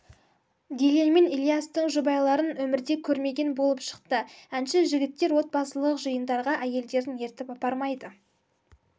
дильен мен ильястың жұбайларын өмірде көрмеген болып шықты әнші жігіттер отбасылық жиындарға әйелдерін ертіп апармайды